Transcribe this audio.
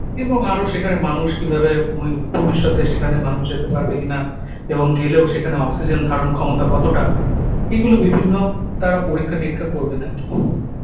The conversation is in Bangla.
এবং আরো সেখানে মানুষ কীভাবে উম এর ভবিষ্যতে সেখানে মানুষ যেতে পারবে কি-না এবং গেলেও সেখানে অক্সিজেন ধারণক্ষমতা কতটা? এগুলো বিভিন্ন তারা পরীক্ষা-নিরীক্ষা করবেন আর কী।